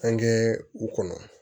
An kɛ u kɔnɔ